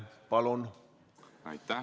Palun!